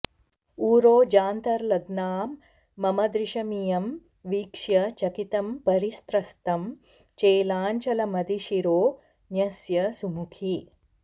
उरोजान्तर्लग्नां मम दृशमियं वीक्ष्य चकितं परिस्रस्तं चेलाञ्चलमधिशिरो न्यस्य सुमुखी